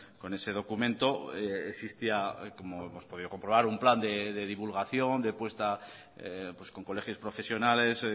con ese documento existía como hemos podido comprobar un plan de divulgación de puesta con colegios profesionales